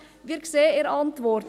Wir sehen in der Antwort: